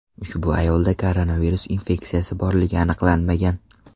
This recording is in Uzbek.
Ushbu ayolda koronavirus infeksiyasi borligi aniqlanmagan.